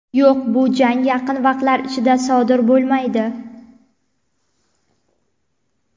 Yo‘q, bu jang yaqin vaqtlar ichida sodir bo‘lmaydi.